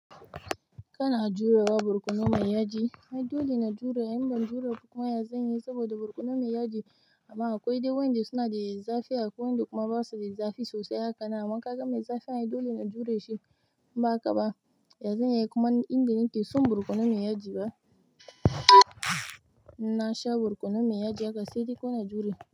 Kana jurewa barkono mai yaji mai dole na jure, in ban jure kuma ya zanyi saboda barkono mai yaji. Amma akwai dai wanda suna da zafi akwai wanda kuma basu da zafi sosai haka namakan mai zafi na yi dole na jure shi. Ba haka ba, ya zanyi kuma inda nake son birkono mai yaji ba, na sha borkono mai yaji haka sai da ko na jure.